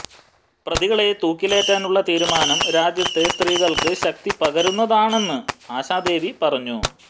പ്രതികളെ തൂക്കിലേറ്റാനുള്ള തീരുമാനം രാജ്യത്തെ സ്ത്രീകള്ക്ക് ശക്തി പകരുന്നതാണെന്ന് ആശാദേവി പറഞ്ഞു